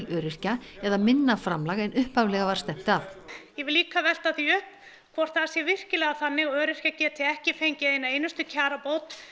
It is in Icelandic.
öryrkja eða minna framlag en upphaflega var stefnt að ég vil líka velta því upp hvort það sé virkilega þannig að öryrkjar geti virkilega ekki fengið eina einustu kjarabót